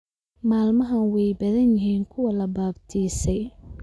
Maalmahan weey badan yihin kuwa la baabtiisay